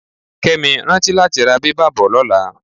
Kẹ́mi, rántí láti ra bẹ́bà bò lọ́la.